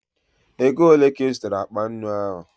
Ego ole ka ị zụtara akpa nnu ahụ?